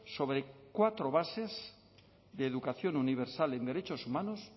sobre cuatro bases de educación universal en derechos humanos